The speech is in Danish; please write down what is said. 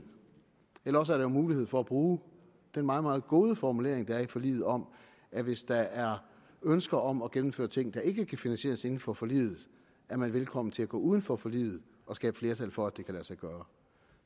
eller også er der jo mulighed for at bruge den meget meget gode formulering der er i forliget om at hvis der er ønsker om at gennemføre ting der ikke kan finansieres inden for forliget er man velkommen til at gå uden for forliget og skabe flertal for at det kan lade sig gøre